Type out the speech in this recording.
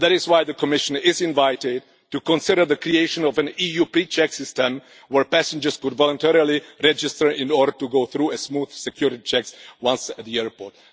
That is why the Commission is invited to consider the creation of an EU pre check system where passengers could voluntarily register in order to go through smooth security checks once at the airport.